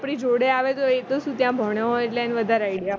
આપણી જોડે આવે તો એ તો શું ત્યાં ભણ્યો હોય એટલે એને વધારે idea